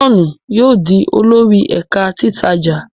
John yóò dì olórí ẹka titaja.